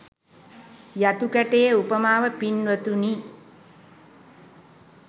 යතු කැටයේ උපමාව පින්වතුනි